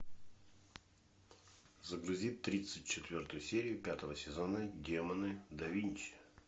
загрузи тридцать четвертую серию пятого сезона демоны да винчи